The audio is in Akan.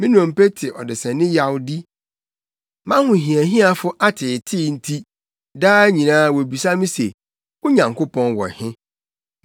Me nnompe te ɔdesani yawdi, mʼahohiahiafo ateetee nti, daa nyinaa wobisa me se, “Wo Nyankopɔn wɔ he?”